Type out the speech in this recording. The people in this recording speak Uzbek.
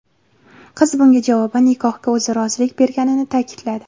Qiz bunga javoban nikohga o‘zi rozilik berganini ta’kidladi.